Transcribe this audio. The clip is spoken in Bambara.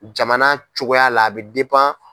Jamana cogoya la a bɛ